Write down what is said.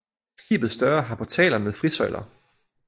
Skibets døre har portaler med frisøjler